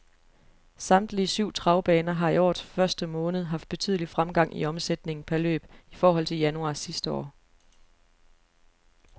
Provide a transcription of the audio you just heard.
Samtlige syv travbaner har i årets første måned haft betydelig fremgang i omsætningen per løb i forhold til januar sidste år.